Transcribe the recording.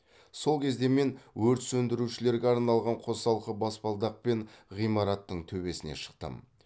сол кезде мен өрт сөндірушілерге арналған қосалқы баспалдақпен ғимараттың төбесіне шықтым